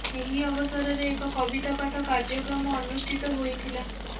ଏହି ଅବସରରେ ଏକ କବିତା ପାଠ କାର୍ଯ୍ୟକ୍ରମ ଅନୁଷ୍ଠିତ ହୋଇଥିଲା